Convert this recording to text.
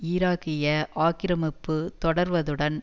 ஈராக்கிய ஆக்கிரமிப்பு தொடர்வதுடன்